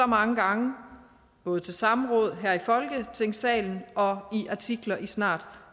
mange gange både til samråd her i folketingssalen og i artikler i snart